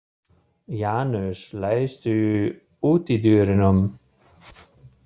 Janus, læstu útidyrunum.